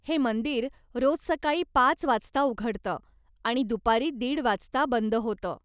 हे मंदिर रोज सकाळी पाच वाजता उघडतं आणि दुपारी दीड वाजता बंद होतं.